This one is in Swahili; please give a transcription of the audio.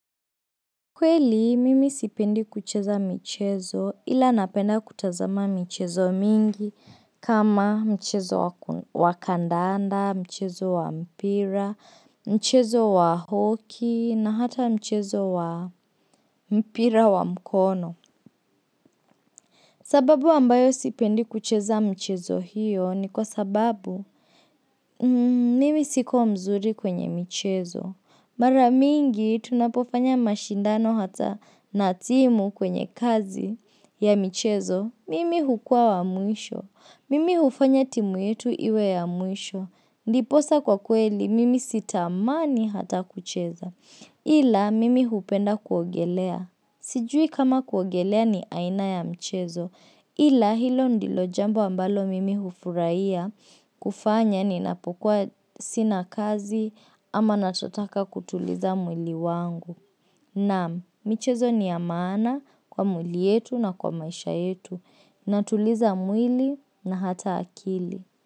Kweli, mimi sipendi kucheza michezo ila napenda kutazama michezo mingi kama mchezo wa kandanda, mchezo wa mpira, mchezo wa hoki na hata mchezo wa mpira wa mkono. Sababu ambayo sipendi kucheza michezo hiyo ni kwa sababu mimi siko mzuri kwenye michezo. Mara mingi tunapofanya mashindano hata natimu kwenye kazi ya michezo, mimi hukuwa wa mwisho, mimi hufanya timu yetu iwe ya mwisho, ndiposa kwa kweli mimi sitamani hata kucheza, ila mimi hupenda kuogelea. Sijui kama kuogelea ni aina ya mchezo ila hilo ndilo jambo ambalo mimi hufuraiya kufanya ni napokuwa sina kazi ama natotaka kutuliza mwili wangu. Naam michezo ni ya maana kwa mwili yetu na kwa maisha yetu na tuliza mwili na hata akili.